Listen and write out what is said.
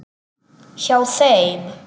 Hjá þeim.